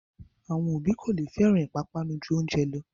Àwọn òbí kò lè fẹ́ràn pápánu ju oúnjẹ lọ